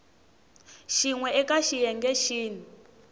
xin we eka xiyenge xin